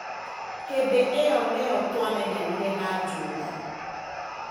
Hĩndĩ ĩyo nĩyo twamenyanire na Juma.